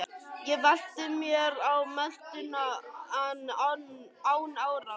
Ég velti mér á meltuna en án árangurs.